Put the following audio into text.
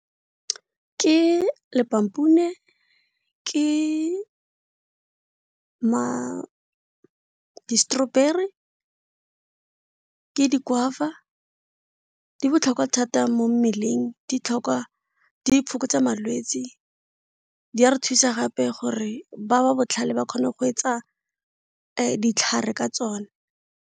Ke , ke di-strawberry, ke di-guava, di botlhokwa thata mo mmeleng di iphokotsa malwetsi, di a re thusa gape gore ba ba botlhale ba kgone go etsa ditlhare ka tsone.